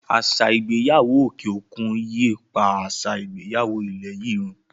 Àṣà ìgbéyàwó òkè òkun yíi pá àṣà ìgbéyàwó ilẹ̀ yìí run.